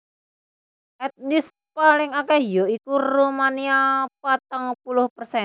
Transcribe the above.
Etnis paling akèh ya iku Rumania patang puluh persen